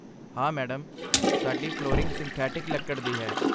ਹਾਂ, ਮੈਡਮ, ਸਾਡੀ flooring synthetic ਲੱਕੜ ਦੀ ਹੈ।